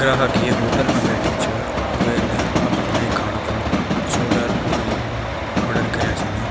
ग्राहक ये होटल मा बैठ्युं छ वेळ अफखुण खाणा खुण छोला अर पूड़ी आर्डर कर्यां छिन।